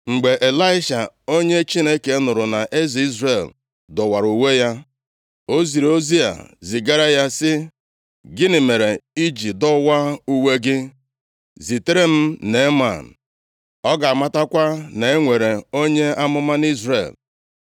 Mgbe Ịlaisha onye Chineke nụrụ na eze Izrel dọwara uwe ya, o ziri ozi a zigara ya sị, “Gịnị mere i ji dọwaa uwe gị? Zitere m Neeman. Ọ ga-amatakwa na e nwere onye amụma nʼIzrel.”